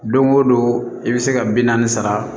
Don o don i bɛ se ka bi naani sara